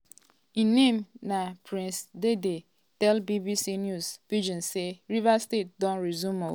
im name na um prince dandy tell bbc news pidgin say "rivers state don resume ooo.